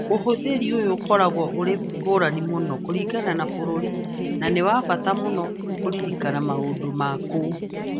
Ũhũthĩri ũyũ ũkoragwo ũrĩ ngũrani mũno kũringana na bũrũri na nĩ wa bata mũno kũririkana maũndũ ma kũu.